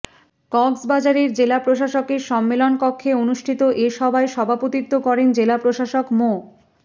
কক্সবাজারের জেলা প্রশাসকের সম্মেলন কক্ষে অনুষ্ঠিত এ সভায় সভাপতিত্ব করেন জেলা প্রশাসক মো